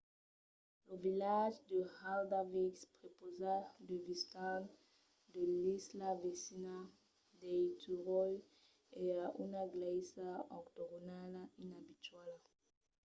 lo vilatge de haldarsvík prepausa de vistas de l’isla vesina d’eysturoy e a una glèisa octogonala inabituala